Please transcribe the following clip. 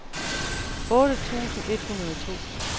otte tusind et hundrede og to